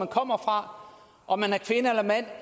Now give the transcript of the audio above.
kommer fra om de